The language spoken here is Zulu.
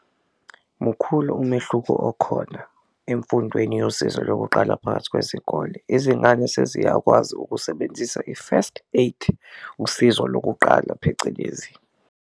Mukhulu umehluko okhona emfundweni yosizo lokuqala phakathi kwezikole, izingane seziyakwazi ukusebenzisa i-first aid usizo lokuqala phecelezi.